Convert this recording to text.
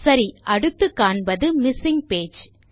சரி அடுத்து காண்பது மிஸ்ஸிங் பேஜ்